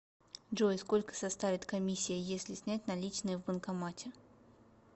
джой сколько составит комиссия если снять наличные в банкомате